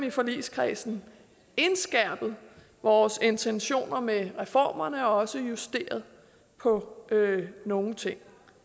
i forligskredsen indskærpet vores intentioner med reformerne og også justeret på nogle ting